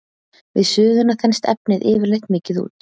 Við suðuna þenst efnið yfirleitt mikið út.